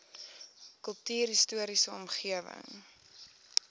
kultuurhis toriese omgewing